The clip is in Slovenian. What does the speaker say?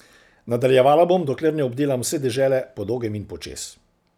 Nadaljevala bom, dokler ne obdelam vse dežele po dolgem in po čez.